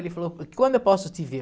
Ele falou, quando eu posso te ver?